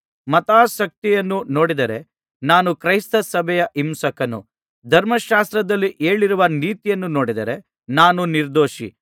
ಮತಾಸಕ್ತಿಯನ್ನು ನೋಡಿದರೆ ನಾನು ಕ್ರೈಸ್ತ ಸಭೆಯ ಹಿಂಸಕನು ಧರ್ಮಶಾಸ್ತ್ರದಲ್ಲಿ ಹೇಳಿರುವ ನೀತಿಯನ್ನು ನೋಡಿದರೆ ನಾನು ನಿರ್ದೋಷಿ